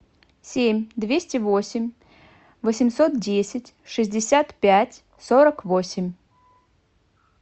семь двести восемь восемьсот десять шестьдесят пять сорок восемь